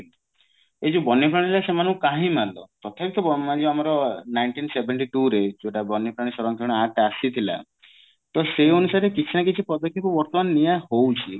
ଏଇ ଯୋଉ ବନ୍ୟ ପ୍ରାଣୀ ସେମାନଙ୍କୁ କାହିଁକି ମାରିଲ ତଥାପି ତ ବ ଇଏ ଆମର nineteen seventy two ରେ ଯୋଉଟା ବନ୍ୟପ୍ରାଣୀ ସରକ୍ଷଣ act ଟା ଆସିଥିଲା ତ ସେଇ ଅନୁସାରେ କିଛି ନା କିଛି ପଦକ୍ଷେପ ବର୍ତମାନ ନିଆ ହଉଛି